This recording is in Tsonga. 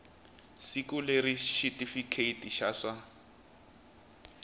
siku leri xitifiketi xa swa